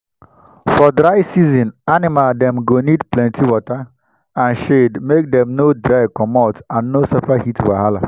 for dry season animal dem go need plenty water and shade make dem no dry comot and no suffer heat wahala.